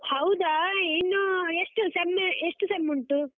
ಹೌದಾ, ಇನ್ನು ಎಷ್ಟು sem ಎಷ್ಟು sem ಉಂಟು?